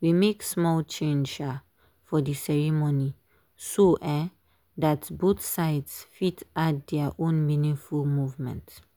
we make small change um for dey ceremony so um that both sides fit add their own meaningful movement.